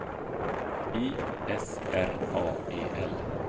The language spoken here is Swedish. I S R A E L